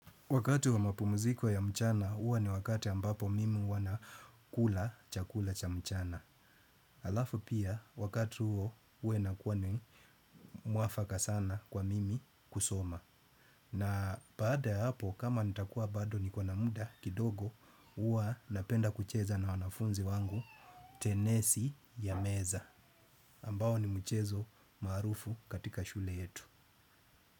Wakati wa mapumuziko ya mchana, huwa ni wakati ambapo mimi huwa na kula chakula cha mchana. Alafu pia, wakati huo, huwa inakuwa ni mwafaka sana kwa mimi kusoma. Na baada ya hapo, kama nitakuwa bado niko na muda kidogo, huwa napenda kucheza na wanafunzi wangu tenesi ya meza. Ambao ni mchezo maarufu katika shule yetu.